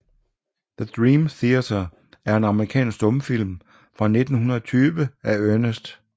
The Dream Cheater er en amerikansk stumfilm fra 1920 af Ernest C